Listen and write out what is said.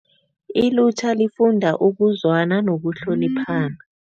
Ilutjha lifuda ukuzwana nokuhloniphana.